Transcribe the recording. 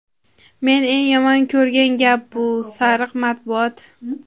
men eng yomon ko‘rgan gap bu – "sariq matbuot".